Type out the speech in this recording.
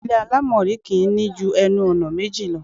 Ilé àlámọ̀rí kì í ní ju ẹnu-ọ̀nà méjì lọ.